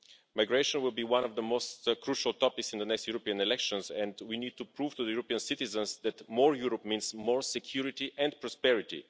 Migration will be one of the most crucial topics in the next European elections and we need to prove to the European citizens that more Europe means more security and prosperity.